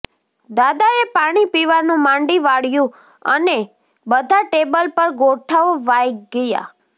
દાદા એ પાણી પીવાનું માંડી વાળ્યું અને બધાં ટેબલ પર ગોઠવાય ગયા